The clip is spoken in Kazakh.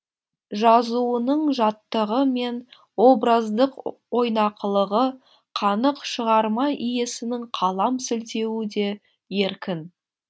жазуының жаттығы мен образдық ойнақылығы қанық шығарма иесінің қалам сілтеуі де еркін